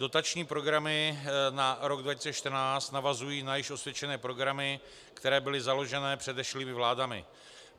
Dotační programy na rok 2014 navazují na již osvědčené programy, které byly založeny předešlými vládami.